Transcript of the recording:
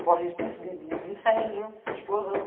Corre risco de incêndio, de explosão.